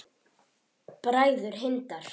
Bræður Hindar